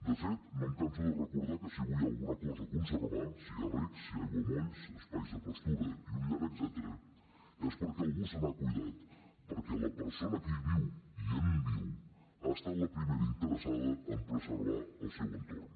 de fet no em canso de recordar que si avui hi ha alguna cosa a conservar si hi ha reg si hi ha aiguamolls espais de pastura i un llarg etcètera és perquè algú se n’ha cuidat perquè la persona que hi viu i en viu ha estat la primera interessada a preservar el seu entorn